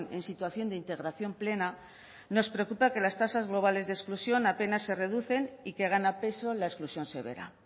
en situación de integración plena nos preocupa que las tasas globales de exclusión apenas se reducen y que gana peso la exclusión severa